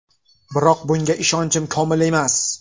Biroq bunga ishonchim komil emas.